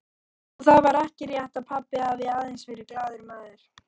Og það var ekki rétt að pabbi hafi aðeins verið glaður maður.